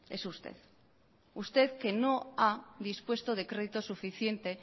es usted usted que no ha dispuesto de crédito suficiente